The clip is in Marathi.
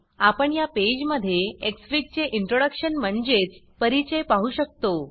आपण या पेज मध्ये एक्सफिग चे इन्ट्रोडक्शन म्हणजेच परिचय पाहु शकतो